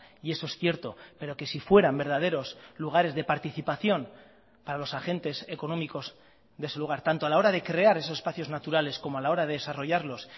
y eso es cierto pero que si fueran verdaderos lugares de participación para los agentes económicos de su lugar tanto a la hora de crear esos espacios naturales como a la hora de desarrollarlos